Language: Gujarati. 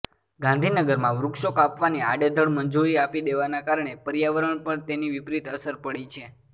ગાંધીનગરમાં વૃક્ષો કાપવાની આડેધડ મંજુરી આપી દેવાના કારણે પર્યાવરણ પણ તેની વિપરીત અસર પડી છે